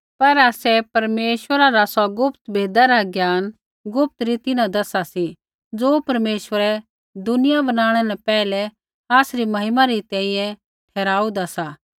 पर आसै परमेश्वरा रा सौ गुप्त भेदा रा ज्ञान गुप्त रीति न दसा सी ज़ो परमेश्वरै दुनिया बनाणै न पैहलै आसरी महिमा री तैंईंयैं ठहराहुन्दा सा